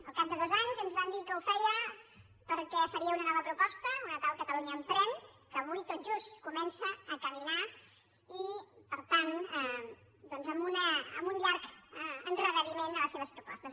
al cap de dos anys ens van dir que ho feia perquè faria una nova proposta una tal catalunya emprèn que avui tot just comença a caminar i per tant doncs amb un llarg endarreriment en les seves propostes